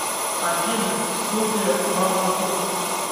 афина студия в аду